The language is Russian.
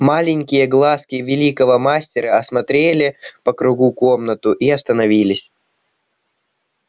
маленькие глазки великого мастера осмотрели по кругу комнату и остановились